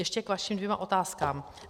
Ještě k vašim dvěma otázkám.